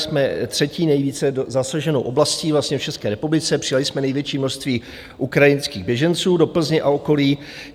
Jsme třetí nejvíce zasaženou oblastí v České republice, přijali jsme největší množství ukrajinských běženců do Plzně a okolí.